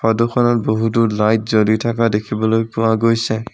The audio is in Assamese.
ফটোখনত বহুতো লাইট জ্বলি থকা দেখিবলৈ পোৱা গৈছে।